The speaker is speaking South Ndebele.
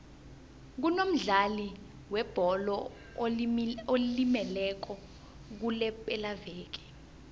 kunomdlali webholo olimeleko kulepelaveke